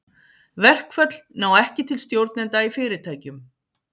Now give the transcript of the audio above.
Verkföll ná ekki til stjórnenda í fyrirtækjum.